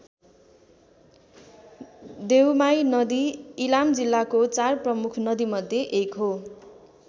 देउमाई नदी इलाम जिल्लाको चार प्रमुख नदीमध्ये एक हो।